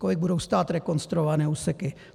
Kolik budou stát rekonstruované úseky?